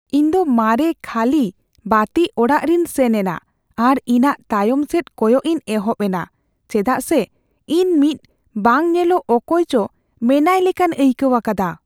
ᱤᱧᱫᱚ ᱢᱟᱨᱮ ᱠᱷᱟᱹᱞᱤ ᱵᱟᱹᱛᱤ ᱚᱲᱟᱜ ᱨᱮᱧ ᱥᱮᱱ ᱮᱱᱟ, ᱟᱨ ᱤᱧᱟᱹᱜ ᱛᱟᱭᱚᱢ ᱥᱮᱫ ᱠᱚᱭᱚᱜ ᱤᱧ ᱮᱦᱚᱵ ᱮᱱᱟ ᱪᱮᱫᱟᱜ ᱥᱮ ᱤᱧ ᱢᱤᱫ ᱵᱟᱝ ᱧᱮᱞᱚᱜ ᱚᱠᱚᱭ ᱪᱚ ᱢᱮᱱᱟᱭ ᱞᱮᱠᱟᱧ ᱟᱹᱭᱠᱟᱹᱣ ᱟᱠᱟᱫᱟ ᱾